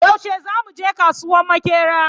Yaushe zamu je kasuwan Maƙera?